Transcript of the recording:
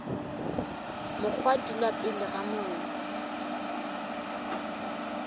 mokgwa dula pele ga mollo